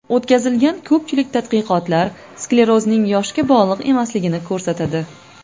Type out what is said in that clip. O‘tkazilgan ko‘pchilik tadqiqotlar sklerozning yoshga bog‘liq emasligini ko‘rsatadi.